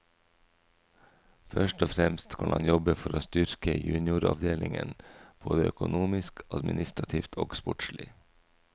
Først og fremst skal han jobbe for å styrke junioravdelingen både økonomisk, administrativt og sportslig.